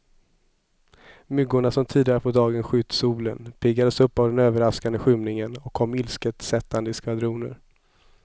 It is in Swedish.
Myggorna som tidigare på dagen skytt solen, piggades upp av den överraskande skymningen och kom ilsket sättande i skvadroner.